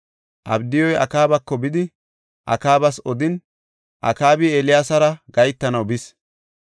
Abdiyuy Akaabako bidi Akaabas odin, Akaabi Eeliyaasara gahetanaw bis.